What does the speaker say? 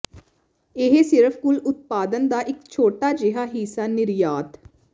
ਇਹ ਸਿਰਫ ਕੁੱਲ ਉਤਪਾਦਨ ਦਾ ਇੱਕ ਛੋਟਾ ਜਿਹਾ ਹਿੱਸਾ ਨਿਰਯਾਤ